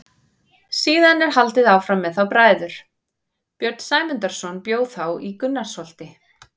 Síðan er haldið áfram með þá bræður: Björn Sæmundarson bjó þá í Gunnarsholti.